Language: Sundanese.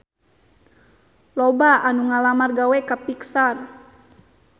Loba anu ngalamar gawe ka Pixar